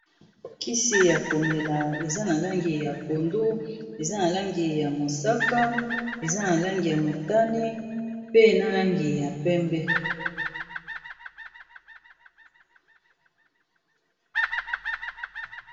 Kisi ya komela eza na langi ya pondu, eza na langi ya mosaka, eza na langi ya motane, pe na langi ya pembe.